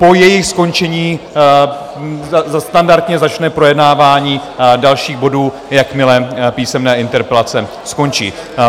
Po jejich skončení standardně začne projednávání dalších bodů, jakmile písemné interpelace skončí.